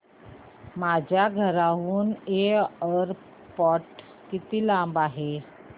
माझ्या घराहून एअरपोर्ट किती लांब आहे